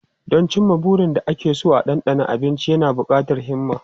Don cimma burin da ake so da dandano abinci yana buƙatar himma.